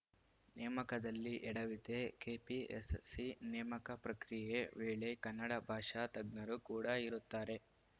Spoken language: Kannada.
ನೇಮಕದಲ್ಲಿ ಎಡವಿತೇ ಕೆಪಿಎಸ್‌ಸಿ ನೇಮಕ ಪ್ರಕ್ರಿಯೆ ವೇಳೆ ಕನ್ನಡ ಭಾಷಾ ತಜ್ಞರು ಕೂಡ ಇರುತ್ತಾರೆ